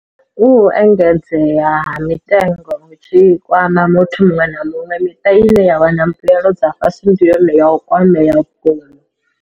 Hu u engedzea ha mitengo hu tshi kwama muthu muṅwe na muṅwe, miṱa ine ya wana mbuelo dza fhasi ndi yone ye ya kwamea vhukuma.